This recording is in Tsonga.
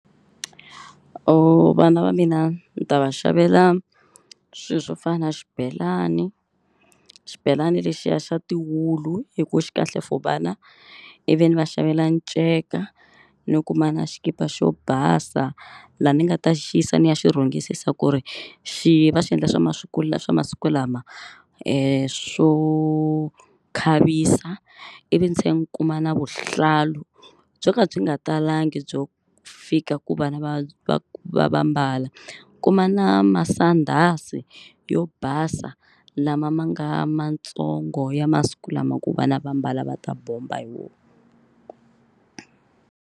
Vana va mina ni ta va xavela swilo swo fana na xibelani. Xibelani lexiya xa tiwulu hi ku xi kahle for vana ivi ni va xavela nceka ni kuma na xikipa xo basa. Laha ni nga ta xi yisa ni ya xi rhungisisa ku ri xi va xi endla swa masiku la swa masiku lama swo khavisa ivi ndzi tlhela ni kuma na vuhlalu byo ka byi nga talangi byo fika ku vana va va va va mbala. Kuma na masandhazi yo basa lama ma nga matsongo ya masiku lama ku vana va mbala va ta bomba hi wona.